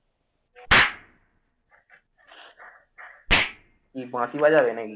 কি বাঁশি বাজাবে নাকি?